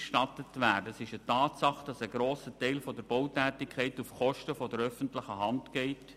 Es ist eine Tatsache, dass ein grosser Teil der Bautätigkeit auf Kosten der öffentlichen Hand geht.